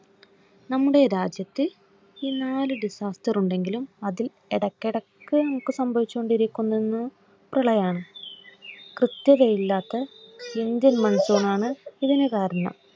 ഈ നാല് Disaster ഉണ്ടെങ്കിലും അതിൽ ഇടക്ക് ഇടക്ക്നമുക്ക് സംഭവിച്ചുകൊണ്ടിരിക്കുന്നത് പ്രളയാണ്. കൃത്യതയില്ലാത്ത ഇന്ത്യൻ Monsoon ആണ് ഇതിനു കാരണം.